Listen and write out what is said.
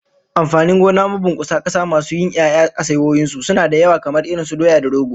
Amfanin gona mabunkusa kasa masu yin 'ya'ya a saiwoyin su, suna da yawa kamar irin su doya da rogo